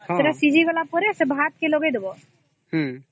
ସେଟା ସିଝି ଗଲା ପରେ ଭାତ କେ ଲଗେଇ ଦବ